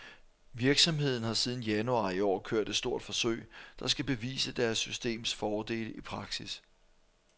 Virksomheden har siden januar i år kørt et stort forsøg, der skal bevise deres systems fordele i praksis.